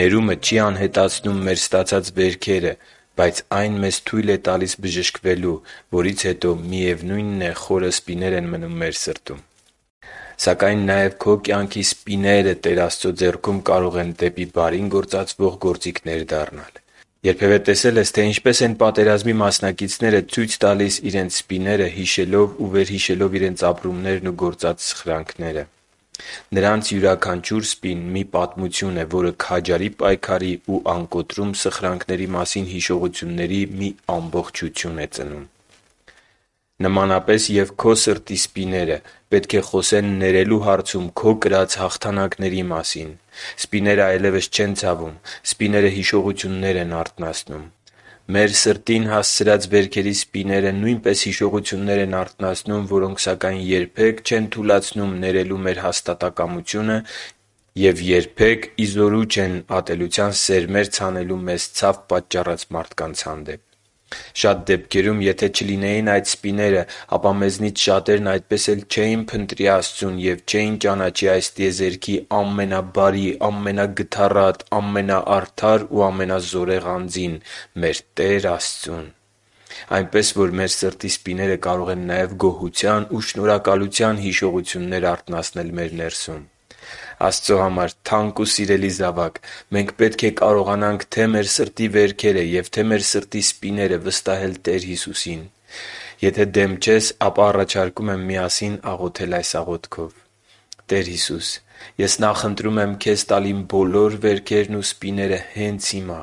Ներումը չի անհետացնում մեր ստացած վերքերը, բայց այն մեզ թույլ է տալիս բժշկվելու, որից հետո, միևնույնն է, խորը սպիներ են մնում մեր սրտում։ Սակայն նաև քո կյանքի սպիները Տեր Աստծո ձեռքերում կարող են դեպի բարին գործածվող գործիքներ դառնալ։ Երբևէ տեսե՞լ ես, թե ինչպես են պատերազմի մասնակիցները ցույց տալիս իրենց սպիները՝ հիշելով ու վերհիշելով իրենց ապրումներն ու սխրանքները։ Նրանց յուրաքանչյուր սպին մի պատմություն է, որը քաջարի պայքարի ու անկոտրում սխրանքների մասին հիշողությունների մի ամբողջություն է ծնում։ Նմանապես և քո սրտի սպիները պետք է խոսեն ներելու հարցում քո կրած հաղթանակների մասին։ Սպիները այլևս չեն ցավում։ Սպիները հիշողություններ են արթնացնում։ Մեր սրտին հասցրած վերքերի սպիները նույնպես հիշողություններ են արթնացնում, որոնք սակայն երբե՛ք չեն թուլացնում ներելու մեր հաստատակամությունը և երբե՛ք ի զորու չեն ատելության սերմեր ցանելու մեզ ցավ պատճառած մարդկանց հանդեպ։ Շատ դեպքերում, եթե չլինեին այդ սպիները, ապա մեզնից շատերն այդպես էլ չէին փնտրի Աստծուն և չէին ճանաչի այս տիեզերքի ամենաբարի, ամենագթառատ, ամենաարդար ու ամենազորեղ Անձին՝ մեր Տեր Աստծուն։ Այնպես, որ մեր սրտի սպիները կարող են նաև գոհության ու շնորհակալության հիշողություններ արթնացնել մեր ներսում։ Աստծո համար թանկ ու սիրելի՛ զավակ, մենք պետք է կարողանանք թե՛ մեր սրտի վերքերը և թե՛ մեր սրտի սպիները վստահել Տեր Հիսուսին։ Եթե դեմ չես, ապա առաջարկում եմ միասին աղոթել այս աղոթքով․ «Տե՛ր Հիսուս, ես նախընտրում եմ Քեզ տալ իմ բոլոր վերքերն ու սպիները հենց հիմա։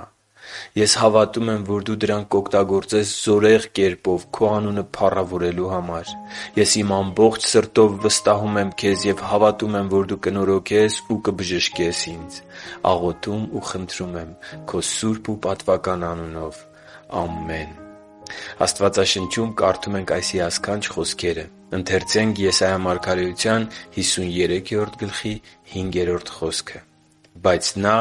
Ես հավատում եմ, որ Դու դրանք կօգտագործես զորեղ կերպով Քո անունը փառավորելու համար։ Ես իմ ամբողջ սրտով վստահում եմ Քեզ և հավատում եմ, որ Դու կնորոգես ու կբժշկես ինձ։ Աղոթում ու խնդրում եմ Քո սուրբ ու պատվական անունով։ Ամե՛ն»։ Աստվածաշնչում կարդում ենք այս հիասքանչ խոսքերը. «Բայց Նա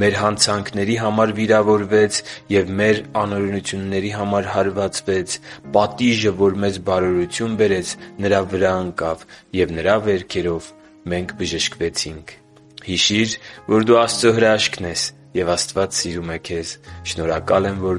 մեր հանցանքների համար վիրավորվեց և մեր անօրենությունների համար հարվածվեց. պատիժը, որ մեզ բարօրություն բերեց, Նրա վրա ընկավ, և Նրա վերքերով մենք բժշկվեցինք» (Եսայիա 53․5)։ Հիշի՛ր, որ դու Աստծո հրաշքն ես, և Աստված սիրում է քեզ։ Շնորհակալ եմ, որ